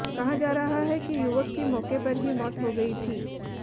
कहा जा रहा है कि युवक की मौके पर ही मौत हो गई थी